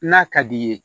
N'a ka d'i ye